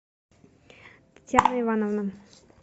татьяна ивановна